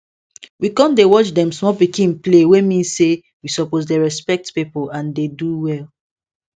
we con dey watch dem small pikin play wey mean say we suppose dey respect people and dey do well